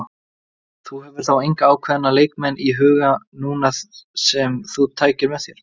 Þú hefur þá enga ákveðna leikmenn í huga núna sem þú tækir með þér?